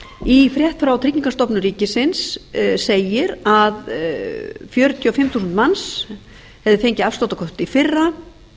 í frétt frá tryggingastofnun ríkisins segir að fjörutíu og fimm þúsund manns hafi fengið afsláttarkort í fyrra